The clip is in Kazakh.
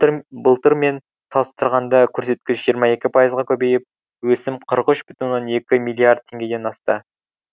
былтырмен салыстырғанда көрсеткіш жиырма екі пайызға көбейіп өсім қырық үш бүтін оннан екі миллиард теңгеден асты